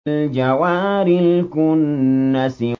الْجَوَارِ الْكُنَّسِ